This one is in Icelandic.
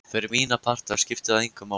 Fyrir mína parta skipti það engu máli.